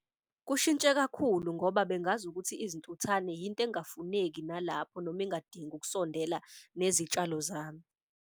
Kushintshe kakhulu ngoba bengazi ukuthi izintuthane yinto engafuneki nalapho noma engadingi ukusondela nezitshalo zami.